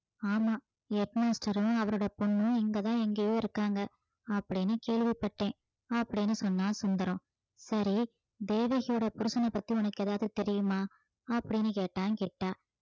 ஆமாம் head master உம் அவரோட பொண்ணும் இங்கதான் எங்கேயோ இருக்காங்க அப்படின்னு கேள்விப்பட்டேன் அப்படின்னு சொன்னான் சுந்தரம் சரி தேவகியோட புருஷனைப் பத்தி உனக்கு ஏதாவது தெரியுமா அப்படின்னு கேட்டான் கிட்டா